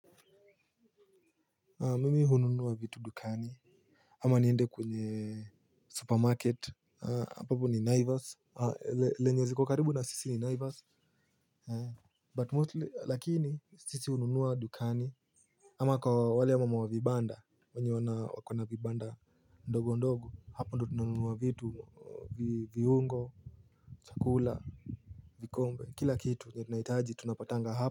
Mimi hununua vitu dukani. Ama niende kwenye supermarket ambapo ni Naivas Lenye ziko karibu na sisi ni Naivas But mostly lakini sisi hununua dukani. Ama kwa wale ya mama wa vibanda mwenye wana wakona vibanda ndogo ndogo hapo ndo tununua vitu viungo chakula. Vikombe kila kitu nye tunaitaji tunapatanga hapa.